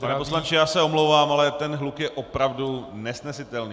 Pane poslanče, já se omlouvám, ale ten hluk je opravdu nesnesitelný.